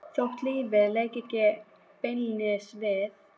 Þótt lífið léki ekki beinlínis við